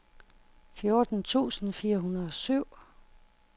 fjorten tusind fire hundrede og syv